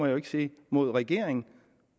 jo ikke sige mod regeringen